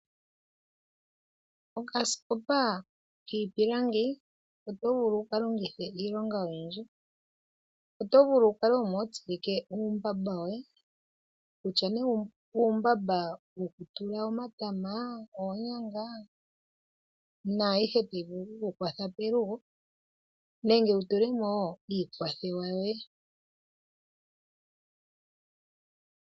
Okasikopa kiipilangi oto vulu wu ka longithe iilonga oyindji. Oto vulu wu kale omo ho tsilike uumbamba woye, kutya nee uumbamba woku tula omatama, oonyanga naayihe tayi vulu oku ku kwatha pelugo nenge wu tule mo wo iikwathewa yoye.